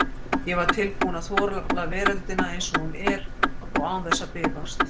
Ég var tilbúinn að þola veröldina eins og hún er, og án þess að bifast.